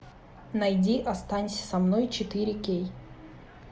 найди останься со мной четыре кей